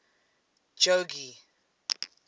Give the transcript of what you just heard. jogee